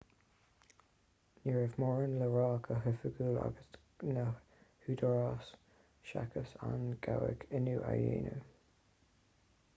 ní raibh mórán le rá go hoifigiúil ag na húdaráis seachas an gabhadh inniu a dheimhniú